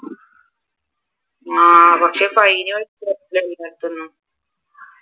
ആഹ് പക്ഷെ